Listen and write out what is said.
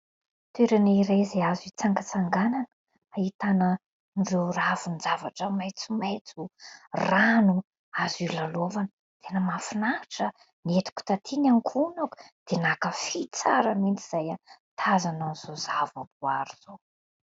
Toerana iray izay azo hitsangatsanganana. Ahitanan'ireo ravin-javatra maintso maintso, rano, azo ilalaovana ; tena mahafinahitra. Noentiko taty ny ankohonako dia nankafy tsara mihitsy izahay nitazana an'izao zava-boary izao.